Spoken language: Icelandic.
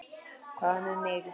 Hvað með mig?